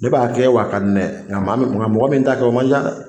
Ne b'a kɛ wa a ka di ne ye nka maa min mɔgɔ min t'a kɛ, o ca dɛ!